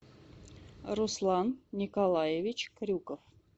руслан николаевич крюков